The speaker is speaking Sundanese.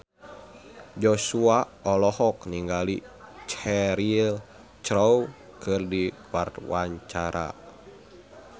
Joshua olohok ningali Cheryl Crow keur diwawancara